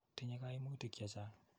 Tinye kaimutik che chang'.